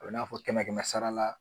A bɛ n'a fɔ kɛmɛ kɛmɛ sara la